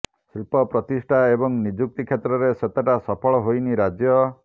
ଶିଳ୍ପ ପ୍ରତିଷ୍ଠା ଏବଂ ନିଯୁକ୍ତି କ୍ଷେତ୍ରରେ ସେତଟା ସଫଳ ହୋଇନି ରାଜ୍ୟ